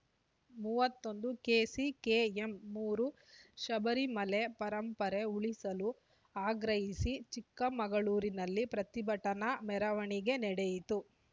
ಮೂವತ್ತೊಂದು ಕೆಸಿಕೆಎಂ ಮೂರು ಶಬರಿಮಲೆ ಪರಂಪರೆ ಉಳಿಸಲು ಆಗ್ರಹಿಸಿ ಚಿಕ್ಕಮಗಳೂರಿನಲ್ಲಿ ಪ್ರತಿಭಟನಾ ಮೆರವಣಿಗೆ ನಡೆಯಿತು